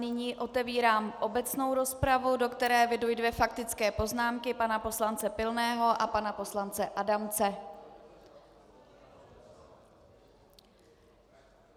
Nyní otevírám obecnou rozpravu, do které eviduji dvě faktické poznámky pana poslance Pilného a pana poslance Adamce.